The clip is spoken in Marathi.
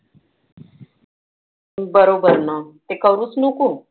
बरोबर ना. ते करूच नको.